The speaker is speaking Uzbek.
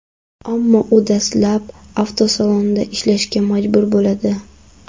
Ammo u dastlab avtosalonda ishlashga majbur bo‘ladi.